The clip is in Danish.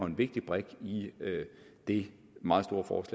en vigtig brik i det meget